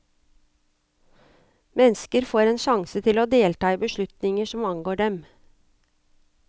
Mennesker får en sjanse til å delta i beslutninger som angår dem.